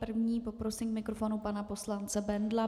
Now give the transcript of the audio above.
První poprosím k mikrofonu pana poslance Bendla.